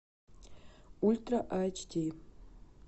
ультра айч ди